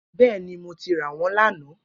Bẹẹni, Mo ti ra wọn lana.